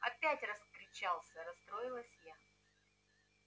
опять раскричался расстроилась я